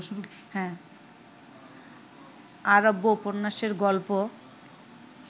আরব্যোপন্যাসের গল্প